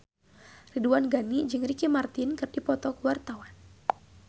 Ridwan Ghani jeung Ricky Martin keur dipoto ku wartawan